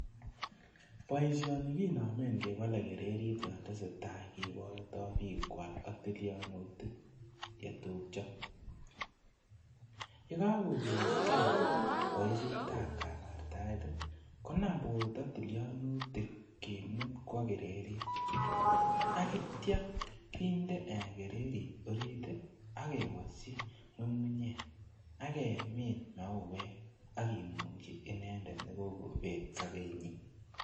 Boisioni kinomen kebole kirerit yon tese tai koborto bik kwak ak tilionutik chetupjo ,yekokokesgee boishet ab kabartaet tii konam borto tillionutik kimut kwo kirerit ak ityo kinde kirerit orit tii ak kewoshi ngungunyek ak kemin mauwek ak kimungi inendet nekokobet sobenyin.